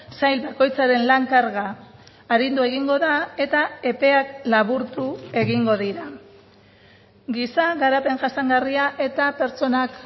sail bakoitzaren lan karga arindu egingo da eta epeak laburtu egingo dira giza garapen jasangarria eta pertsonak